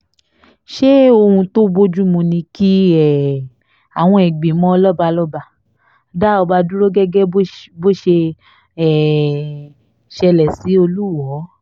ṣé ohun tó bojumu ni ki um awọn ìgbìmọ̀ lọ́balọ́ba dá ọba dúró gẹ́gẹ́ bó ṣe um ṣẹlẹ̀ sí olùwọ́ọ́